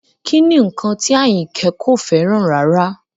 Kí ni nnkan tí Àyìnkẹ́ kò fẹ́ràn rárá?